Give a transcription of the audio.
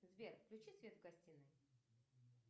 сбер включи свет в гостинной